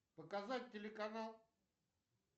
показать телеканал